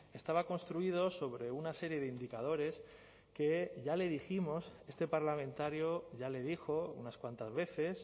estaba construido sobre una serie de indicadores que ya le dijimos este parlamentario ya le dijo unas cuantas veces